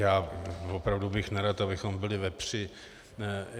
Já opravdu bych nerad, abychom byli ve při.